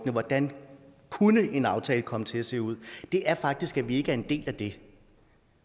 hvordan en aftale kunne komme til at se ud er faktisk at vi ikke er en del af det